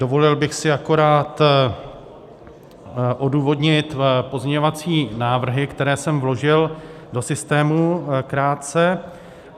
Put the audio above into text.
Dovolil bych si akorát odůvodnit pozměňovací návrhy, které jsem vložil do systému krátce.